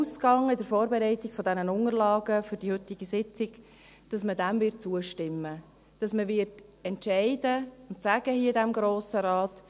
Ich ging bei der Vorbereitung der Unterlagen zur heutigen Sitzung davon aus, dass man dem zustimmen wird, dass man in diesem Grossen Rat entscheiden und sagen wird: